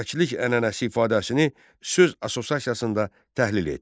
Dövlətçilik ənənəsi ifadəsini söz assosiasiyasında təhlil et.